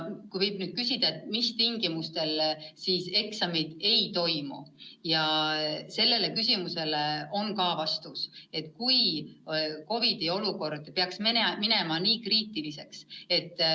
Kui küsida, mis tingimustel eksamid võiks mitte toimuda, siis sellele küsimusele on vastus, et siis, kui COVID-i olukord peaks minema ülimalt kriitiliseks.